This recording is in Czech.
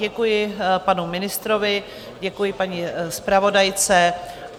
Děkuji panu ministrovi, děkuji paní zpravodajce.